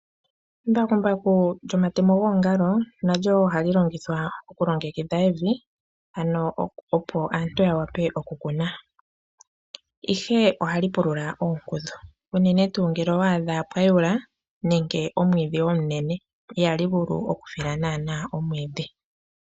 Embakumbaku lyomatemo goongalo nalyo woo ohali longithwa okulongekidha evi, opo aantu ya wape okukuna. Ihe ohali pulula oonkudhu unene ngele owa adha pwa yula nenge omwiidhi omunene, ihali vulu okufila naana omwiidhi.